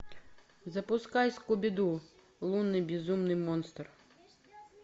запускай скуби ду лунный безумный монстр